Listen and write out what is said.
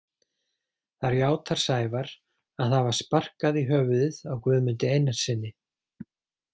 Þar játar Sævar að hafa sparkað í höfuðið á Guðmundi Einarssyni.